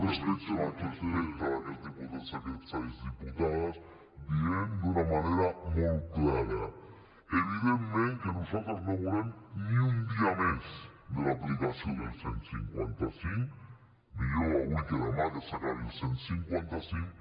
respecte d’aquests diputats i aquestes diputades dient d’una manera molt clara evidentment que nosaltres no volem ni un dia més de l’aplicació del cent i cinquanta cinc millor avui que demà que s’acabi el cent i cinquanta cinc